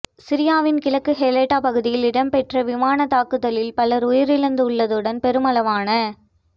சிரியாவின் கிழக்கு ஹெளட்டா பகுதியில் இடம்பெற்ற விமானத் தாக்குதலில் பலர் உயிரிழந்துள்ளதுடன் பெருமளவான